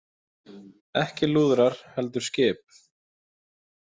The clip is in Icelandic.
Ekki lúðrar heldur skip.